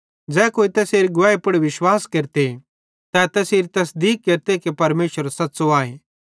ज़ै कोई तैसेरी गवाही पुड़ विश्वास केरते तै तैसेरी तसदीक केरते कि परमेशर सच़्च़ो आए